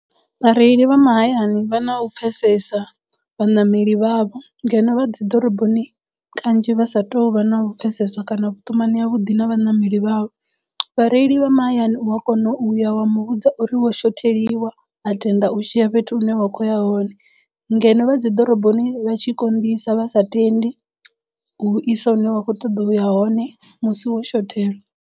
Vhareili vha mahayani vha na u pfhesesa vhaṋameli vhavho ngeno vha dzi ḓoroboni kanzhi vha sa tou vha na u pfhesesa kana vhuṱumani ha vhuḓi na vhaṋameli vhavho vhareili vha mahayani u a kona u uya wa muvhudza uri wo shotheliwa a tenda u tshiya fhethu hune wa kho ya hone ngeno vha dzi ḓoroboni vha tshi konḓisa vha sa tendi u isa hune wa kho ṱoḓa uya hone musi wo shothelwa.